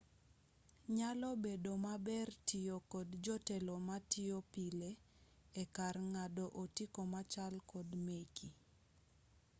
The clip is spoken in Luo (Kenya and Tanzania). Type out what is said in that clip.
nyalo bedo maber tiyo kod jotelo matiyo pile ekar ng'ado otiko machal kod meki